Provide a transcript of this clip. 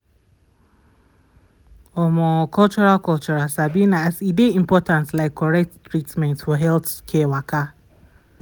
omo cultural cultural sabi na as e dey important like correct treatment for healthcare waka.